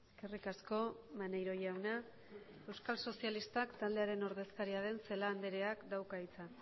eskerrik asko maneiro jauna euskal sozialistak taldearen ordezakaria den celaá andreak dauka hitza